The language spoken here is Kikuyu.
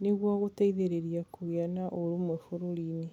nĩguo gũteitherĩria kũgĩa kwa ũrũmwe bũrũri-inĩ.